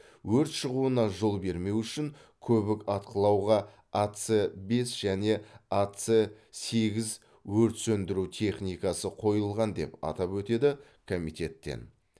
өрт шығуына жол бермеу үшін көбік атқылауға ац бес және ац сегіз өрт сөндіру техникасы қойылған деп атап өтеді комитеттен